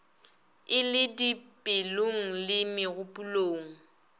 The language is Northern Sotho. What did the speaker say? e le dipelong le megopolong